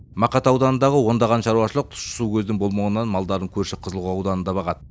мақат ауданындағы ондаған шаруашалық тұщы су көзінің болмауынан малдарын көрші қызылқоға ауданында бағады